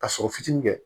Ka sɔrɔ fitinin kɛ